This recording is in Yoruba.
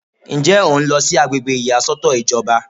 Ǹjẹ́ o ń lọ sí àgbègbè ìyàsọ́tọ̀ ìjọba?